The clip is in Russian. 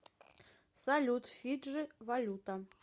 салют фиджи валюта